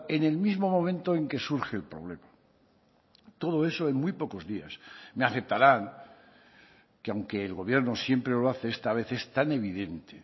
en el mismo momento en que surge el problema todo eso en muy pocos días me aceptarán que aunque el gobierno siempre lo hace esta vez es tan evidente